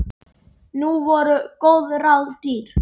Nú voru góð ráð dýr!